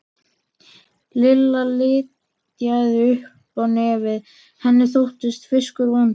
Lilla fitjaði upp á nefið, henni þótti fiskur vondur.